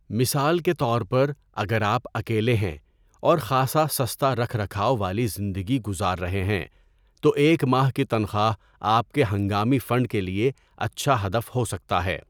مثال کے طور پر، اگر آپ اکیلے ہیں اور خاصا سستا رکھ رکھاؤ والی زندگی گزار رہے ہیں تو ایک ماہ کی تنخواہ آپ کے ہنگامی فنڈ کے لیے اچھا ہدف ہو سکتا ہے۔